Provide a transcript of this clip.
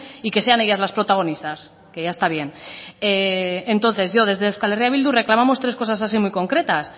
y que sean ellas las protagonistas que ya está bien entonces yo desde euskal herria bildu reclamamos tres cosas así muy concretas